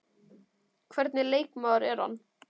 Hvernig leikmaður er hann?